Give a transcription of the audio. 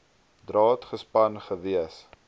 draad gespan gewees